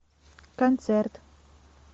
концерт